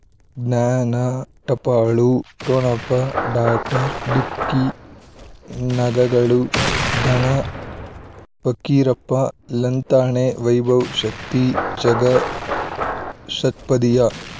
ಜ್ಞಾನ ಟಪಾಲು ಠೊಣಪ ಡಾಕ್ಟರ್ ಢಿಕ್ಕಿ ಣಗ ಗಳು ಧನ ಫಕೀರಪ್ಪ ಳಂತಾನೆ ವೈಭವ್ ಶಕ್ತಿ ಝಗಾ ಷಟ್ಪದಿಯ